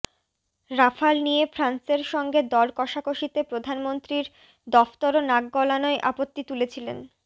Rafale নিয়ে ফ্রান্সের সঙ্গে দর কষাকষিতে প্রধানমন্ত্রীর দফতরও নাক গলানোয় আপত্তি তুলেছিলেন